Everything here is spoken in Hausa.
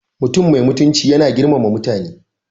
Mutum mai mutunci yana girmama mutane.